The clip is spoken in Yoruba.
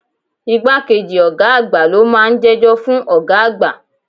Igbá kejì ọ̀gá àgbà lo máa ń jẹ́jọ́ fún ọ̀gá àgbà.